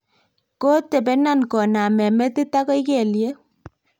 kotobenon kooname metit agoi kelyek